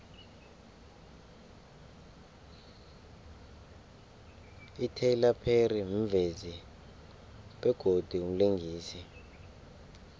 ityler perry mvezi begodu mlingisi